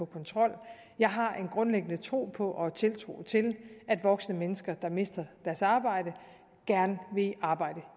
kontrol jeg har en grundlæggende tro på og tiltro til at voksne mennesker der mister deres arbejde gerne vil i arbejde